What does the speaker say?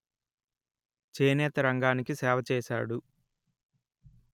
చేనేత రంగానికి సేవ చేసాడు